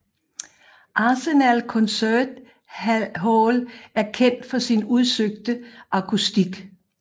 Arsenal Concert Hall er kendt for sin udsøgte akustik